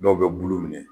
Dɔw bɛ bulu minɛ